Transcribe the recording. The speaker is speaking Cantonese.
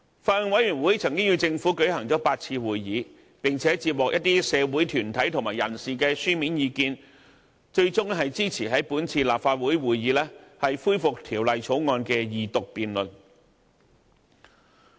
法案委員會曾與政府舉行了8次會議，並且接獲一些社會團體和人士的書面意見，最終支持於本次立法會會議恢復《條例草案》的二讀辯論。